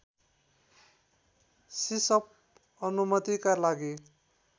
सिसअप अनुमतिका लागि